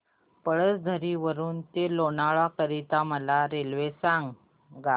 पळसधरी वरून ते लोणावळा करीता मला रेल्वे सांगा